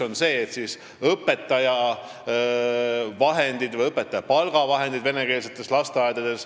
Esiteks, õpetajate palgavahendid venekeelsetes lasteaedades.